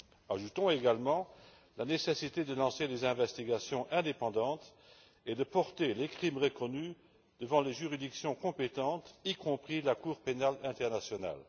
Ajoutons également la nécessité de lancer des enquêtes indépendantes et de porter les crimes reconnus devant les juridictions compétentes, y compris la Cour pénale internationale.